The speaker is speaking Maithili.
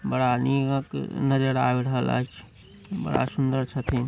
बड़ा निक नज़र आब रहल ऐछ बड़ा सुन्दर छथीन।